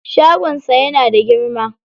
Shagon sa yana da girma.